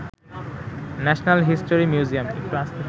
national history museum